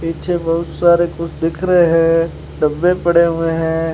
पीछे बहुत सारे कुछ दिख रहे हैं डब्बे पड़े हुए हैं।